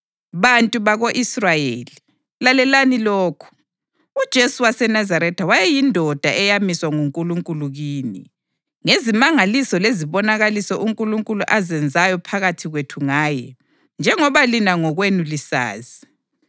Bantu bako-Israyeli, lalelani lokhu: UJesu waseNazaretha wayeyindoda eyamiswa nguNkulunkulu kini, ngezimangaliso lezibonakaliso uNkulunkulu azenzayo phakathi kwenu ngaye, njengoba lina ngokwenu lisazi.